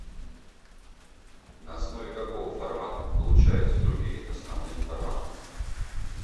на основе какого формата получаются другие основные форматы